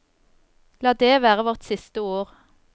La det være vårt siste ord.